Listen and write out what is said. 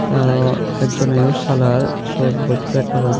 te aro ek joneyo salar sut bosta ekku agey dhup.